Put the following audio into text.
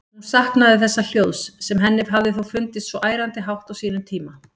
Hún saknaði þessa hljóðs, sem henni hafði þó fundist svo ærandi hátt á sínum tíma.